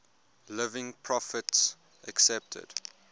living prophets accepted